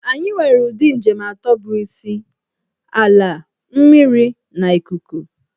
Anyị nwere ụdị njem atọ bụ isi - Ala, mmiri na ikuku.